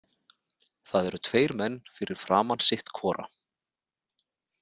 Það eru tveir menn fyrir framan sitt hvora.